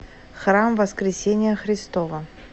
храм воскресения христова